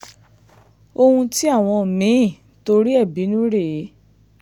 ohun tí àwọn mí-ín torí ẹ̀ bínú rèé